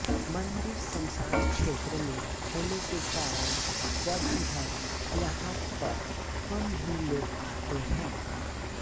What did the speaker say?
मंदिर श्मशान क्षेत्र में होने के कारण वर्षभर यहाँ पर कम ही लोग आते हैं